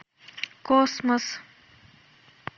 космос